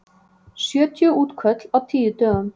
Sjötíu útköll á tíu dögum